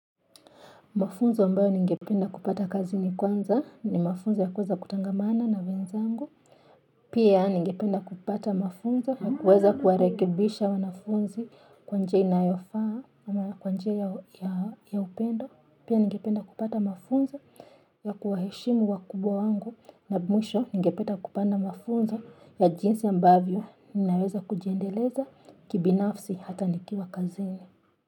Mafunzo ambayo ningependa kupata kazini kwanza ni mafunzo ya kuweza kutangamana na wenzangu. Pia ningependa kupata mafunzo ya kuweza kuwarekebisha wanafunzi kwa njia inayofaa kwa njia ya upendo. Pia ningependa kupata mafunzo ya kuwaheshimu wa kubwa wangu. Na mwisho ningependa kupata mafunzo ya jinsi ambavyo ninaweza kujiendeleza kibinafsi hata nikiwa kazi.